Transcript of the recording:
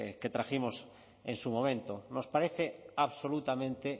que trajimos en su momento nos parece absolutamente